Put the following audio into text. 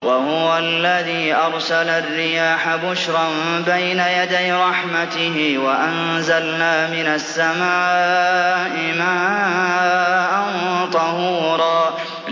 وَهُوَ الَّذِي أَرْسَلَ الرِّيَاحَ بُشْرًا بَيْنَ يَدَيْ رَحْمَتِهِ ۚ وَأَنزَلْنَا مِنَ السَّمَاءِ مَاءً طَهُورًا